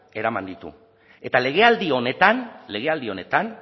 eraman ditu eta legealdi honetan legealdi honetan